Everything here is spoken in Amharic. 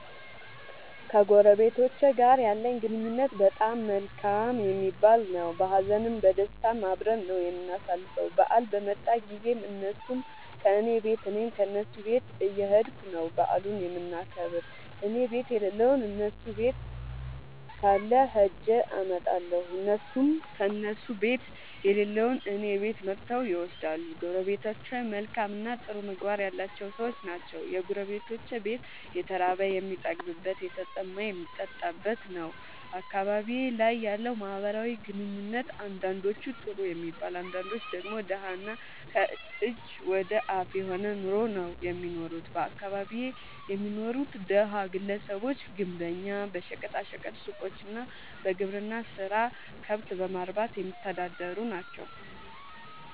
ከጎረቤቶቸ ጋር ያለኝ ግንኙነት በጣም መልካም የሚባል ነዉ። በሀዘንም በደስታም አብረን ነዉ የምናሣልፈዉ በአል በመጣ ጊዜም እነሡም ከኔ ቤት እኔም ከነሡ ቤት እየኸድኩ ነዉ በዓሉን የምናከብር እኔቤት የለለዉን እነሡ ቤት ካለ ኸጀ አመጣለሁ። እነሡም ከእነሡ ቤት የሌለዉን እኔ ቤት መጥተዉ ይወስዳሉ። ጎረቤቶቸ መልካምእና ጥሩ ምግባር ያላቸዉ ሠዎች ናቸዉ። የጎረቤቶቼ ቤት የተራበ የሚጠግብበት የተጠማ የሚጠጣበት ነዉ። አካባቢዬ ላይ ያለዉ ማህበራዊ ኑሮ አንዳንዶቹ ጥሩ የሚባል አንዳንዶቹ ደግሞ ደሀ እና ከእጅ ወደ አፍ የሆነ ኑሮ ነዉ እሚኖሩት በአካባቢየ የሚኖሩት ደሀ ግለሰቦች ግንበኛ በሸቀጣ ሸቀጥ ሡቆች እና በግብርና ስራ ከብት በማርባትየሚተዳደሩ ናቸዉ።